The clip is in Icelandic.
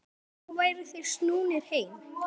Nú væru þeir snúnir heim.